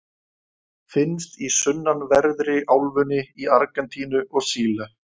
Finnst í sunnanverðri álfunni, í Argentínu og Síle.